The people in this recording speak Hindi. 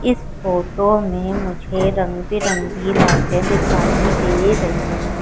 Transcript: इस फोटो में मुझे रंग बिरंगी लाइटें दिखाई दे रहे हैं।